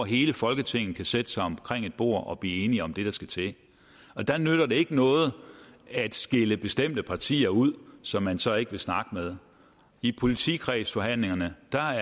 hele folketinget kan sætte sig omkring et bord og blive enige om det der skal til der nytter det ikke noget at skille bestemte partier ud som man så ikke vil snakke med i politikredsforhandlingerne